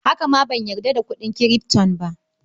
Haka ma ban gamsu da kuɗin Kirifto ba.